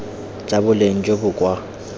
tsa boleng jo bo kwa